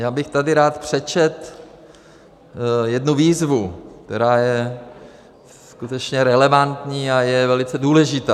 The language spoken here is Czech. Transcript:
Já bych tady rád přečetl jednu výzvu, která je skutečně relevantní a je velice důležitá.